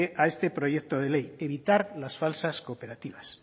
a este proyecto de ley evitar las falsas cooperativas